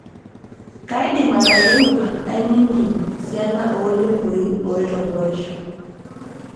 kaidim atayiewua nainining' esiana ooltemboi oitoborisho